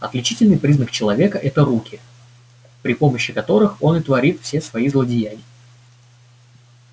отличительный признак человека это руки при помощи которых он и творит все свои злодеяния